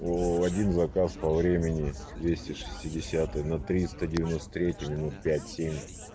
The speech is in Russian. о один заказ по времени двести шестидесятую на триста девяносто третей минут пять семь